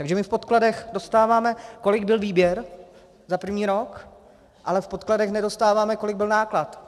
Takže my v podkladech dostáváme, kolik byl výběr za první rok, ale v podkladech nedostáváme, kolik byl náklad.